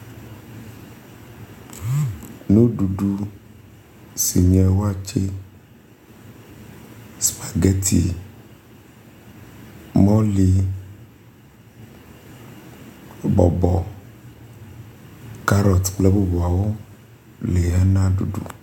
Nuɖuɖu si nye waakye, supageti, mɔli, bɔbɔ, karoti kple bubuawo li hena ɖuɖu.